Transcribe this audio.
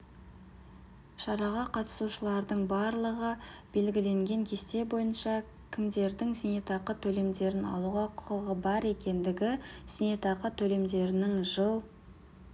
шараға қатысушылардың барлығы белгіленген кесте бойынша кімдердің зейнетақы төлемдерін алуға құқығы бар екендігі зейнетақы төлемдерінің жыл